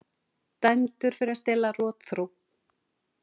Dæmdur fyrir að stela rotþró